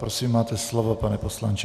Prosím, máte slovo, pane poslanče.